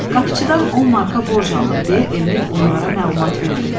Qapıçıdan 10 marka borc aldım deyə Emil onlara məlumat verdi.